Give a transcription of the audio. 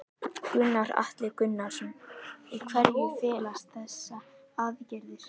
Gunnar Atli Gunnarsson: Í hverju felast þessa aðgerðir?